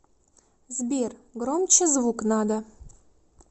сбер громче звук надо